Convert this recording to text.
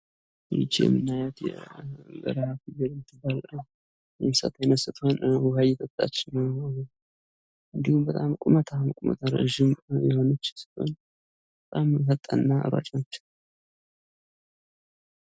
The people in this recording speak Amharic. የቤት እንስሳት ክትባት ያስፈልጋቸዋል። የዱር እንስሳት ደግሞ በተፈጥሮ በሽታ የመከላከል አቅም አላቸው።